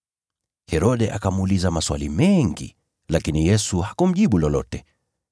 Herode akamuuliza maswali mengi, lakini Yesu hakumjibu lolote.